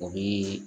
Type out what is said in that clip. O bi